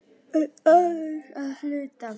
En aðeins að hluta.